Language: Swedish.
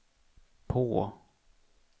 på